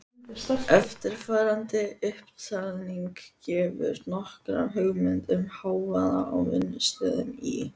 Eftirfarandi upptalning gefur nokkra hugmynd um hávaða á vinnustöðum í